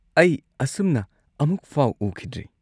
ꯑꯩ ꯑꯁꯨꯝꯅ ꯑꯃꯨꯛꯐꯥꯎ ꯎꯈꯤꯗ꯭ꯔꯤ꯫